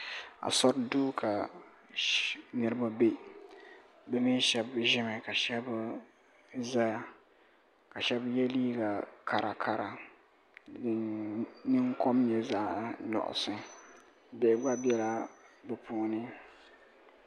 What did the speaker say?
Asori duu ka niriba be bɛ mee sheba ʒimi ka sheba zaya ka sheba ye liiga kara kara din kom nyɛ zaɣa nuɣuso bihi gba biɛla bɛ puuni.